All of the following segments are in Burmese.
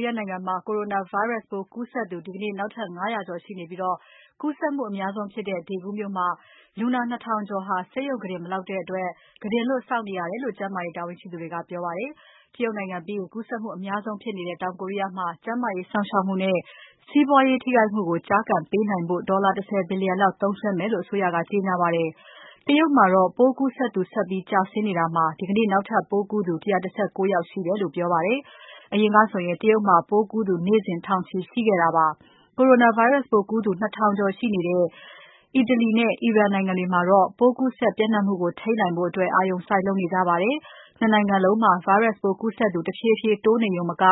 ီးယားနိုင်ငံမှာ Coronavirus ပိုးကူးစက်သူ ဒီနေ့ နောက်ထပ် ၅၀၀ ကျော်ရှိနေပြီး၊ ကူးစက်မှုအများဆုံးဖြစ်တဲ့ Daegu မြို့မှာ လူနာ ၂,၀၀၀ ကျော်ဟာ ဆေးရုံကုတင် မလောက်တဲ့အတွက် ကုတင်လွတ်စောင့်နေရာတယ်လို့ ကျန်းမာရေး တာဝန်ရှိသူတွေက ပြောပါတယ်။ တရုတ်နိုင်ငံပြီးရင် ကူးစက်မှု အများဆုံးဖြစ်နေတဲ့ တောင်ကိုရီးယားမှာ ကျန်းမာရေးစောင့်ရှောက်မှုနဲ့ စီးပွားရေးထိခိုက်မှုကို ကျားကန်ပေးနိုင်ဖို့ ဒေါ်လာ ၁၀ ဘီလျံသုံးစွဲမယ်လို့ အစိုးရက ကြေညာပါတယ်။ တရုတ်မှာတော့ ပိုးကူးစက်သူဆက်ပြီး ကျဆင်းနေတာမှာ ဒီကနေ့နောက်ထပ်ပိုးကူးသူ ၁၁၉ ယောက်ရှိတယ်လို့ ပြောပါတယ်။ အရင်ကဆို တရုတ်မှာ ပိုးကူးသူ နေ့စဉ် ထောင်ချီရှိခဲ့တာပါ။ ၂ နိုင်ငံလုံးမှာ virus ပိုးကူးစက်သူ တဖြည်းဖြည်း တိုးလာနေရုံမက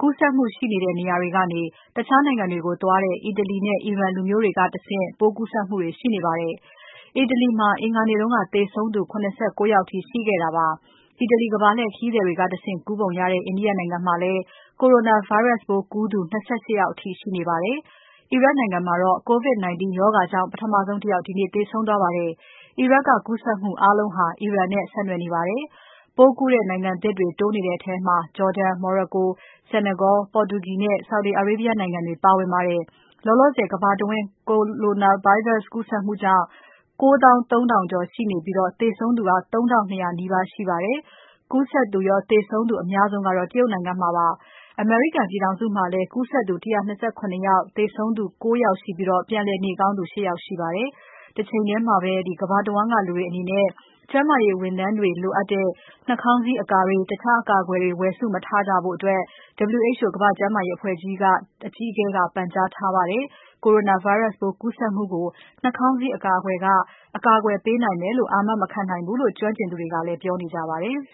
ကူးစက်မှုရှိနေတဲ့ နေရာတွေကနေ တခြားနိုင်ငံတွေကို သွားတဲ့ အီတလီနဲ့ အီရန်လူမျိုးတွေမှာပါ ပိုးကူးစက်မှုတွေ ရှိနေပါတယ်။ အီတလီမှာ အင်္ဂါနေ့က သေဆုံးသူ ၇၉ ယောက်အထိ ရှိခဲ့တာပါ။ အီတလီ ကမ္ဘာလှည့်ခရီးသည်တွေကတဆင့် ကူးနေပုံရတဲ့ India နိုင်ငံမှာလည်း Coronavirus ပိုးကူးသူ ၂၈ ယောက်အထိ ရှိနေပါတယ်။ အီရတ်မှာတော့ COVID-19 ရောဂါကြောင့် ပထမဆုံး တယောက် ဒီနေ့သေဆုံးသွားပါတယ်။ အီရတ်ကကူးစက်မှုအားလုံးဟာ အီရန်နဲ့ဆက်နွယ်နေပါတယ်။ ပိုးကူးတဲ့နိုင်ငံသစ်တွေ တိုးနေတဲ့ထဲမှာ Jordan, Morocco, Senegal, Portugal နဲ့ Saudi Arabia နိုင်ငံတွေ ပါဝင်ပါတယ်။ လောလောဆယ် ကမ္ဘာတဝန်း Coronavirus ကူးစက်နေသူပေါင်း ၉၃,၀၀၀ ကျော်ရှိပြီး သေဆုံးသူ ၃,၂၀၀ နီးပါးရှိပါတယ်။ ကူးစက်သူရော သေဆုံးသူ အများဆုံးက တရုတ်နိုင်ငံမှာဖြစ်ပါတယ်။ အမေရိကန်ပြည်ထောင်စုမှာလည်း သေဆုံးသူ ၉ ယောက်ရှိပြီး ပြန်လည်နေကောင်းသူ ၈ ယောက်ရှိပါတယ်။ တချိန်ထဲမှာပဲ ကမ္ဘာတဝန်းက လူတွေအနေနဲ့ ကျန်းမာရေး ဝန်ထမ်းတွေလိုတဲ့ နှာခေါင်းစည်းအကာတွေ၊ တခြားအကာအကွယ်တွေ ဝယ်စုမထားကြဖို့ WHO ကမ္ဘာ့ကျန်းမာရေးအဖွဲ့အကြီးအကဲက ပန်ကြားထားပါတယ်။ Coronavirus ပိုးကူးစက်မှုကို နှာခေါင်းစည်းအကာတွေက အကာအကွယ်ပေးနိုင်မယ်လို့ အာမ မခံနိုင်ဘူးလို့ ကျွမ်းကျင်သူတွေကလည်း ပြောနေကြပါတယ်။